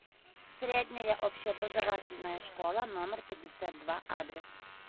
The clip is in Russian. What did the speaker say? средняя общеобразовательная школа номер пятьдесят два адрес